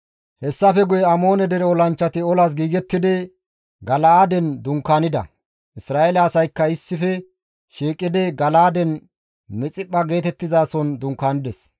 Hessafe guye Amoone dere olanchchati olas giigettidi Gala7aaden dunkaanida; Isra7eele asaykka issife shiiqidi Gala7aaden Mixiphpha geetettizason dunkaanides.